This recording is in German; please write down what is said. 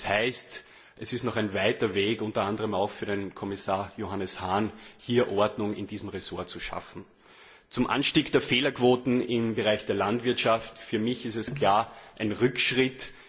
Das heißt, es ist noch ein weiter Weg, unter anderem auch für den Kommissar Johannes Hahn, um Ordnung in diesem Ressort zu schaffen. Der Anstieg der Fehlerquoten im Bereich der Landwirtschaft ist für mich klar ein Rückschritt.